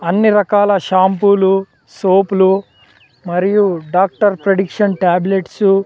అన్ని రకాల షాంపూలు సోపులు మరియు డాక్టర్ ప్రేడిక్షన్ టాబ్లెట్స్ .